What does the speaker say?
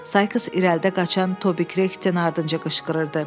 Sayks irəlidə qaçan Toby Kretin ardınca qışqırırdı.